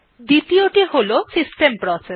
দ্বিতীযটি হল system process